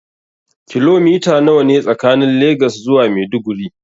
Kilomita nawa ne tsakanin Legas zuwa Maiduguri.